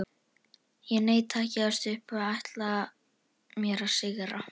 Ég neita að gefast upp og ætla mér að sigra.